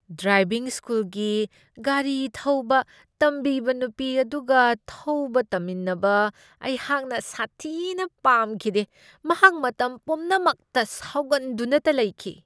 Driving ꯁ꯭ꯀꯨꯜꯒꯤ ꯒꯥꯔꯤ ꯊꯧꯕ ꯇꯝꯕꯤꯕ ꯅꯨꯄꯤ ꯑꯗꯨꯒ ꯊꯧꯕ ꯇꯝꯃꯤꯟꯅꯕ ꯑꯩꯍꯥꯛꯅ ꯁꯥꯊꯤꯅ ꯄꯥꯝꯈꯤꯗꯦ ꯫ ꯃꯍꯥꯛ ꯃꯇꯝ ꯄꯨꯝꯅꯃꯛꯇ ꯁꯥꯎꯒꯟꯗꯨꯅꯇ ꯂꯩꯈꯤ ꯫